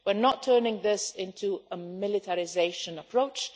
We are not turning this into a militarisation approach